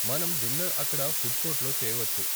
మనం డిన్నర్ అక్కడ ఫుడ్ కోర్టులో చేయవచ్చు.